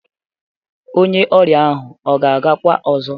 Onye ọrịa ahụ ọ ga-agakwa ọzọ?